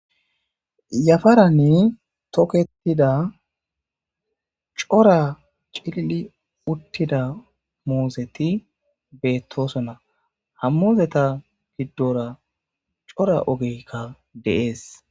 Yaparan toketida coora gididi utida muzeti betosona ha muzeta gidora coora ogeyika de'es